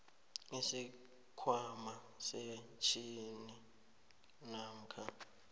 isikhwama sepentjhini namkha